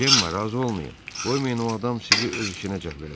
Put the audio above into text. Cemma, razı olmayın, qoymayın o adam sizi öz işinə cəlb eləsin.